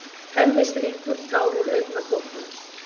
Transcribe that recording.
Hemmi strýkur tár úr augnakrókunum.